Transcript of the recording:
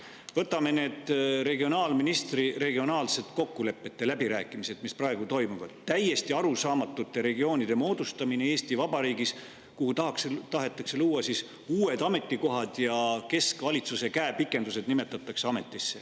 Või võtame need regionaalministri regionaalsete kokkulepete läbirääkimised, mis praegu toimuvad: täiesti arusaamatute regioonide moodustamine Eesti Vabariigis, kusjuures tahetakse luua uued ametikohad ja ametisse nimetatakse keskvalitsuse käepikendused.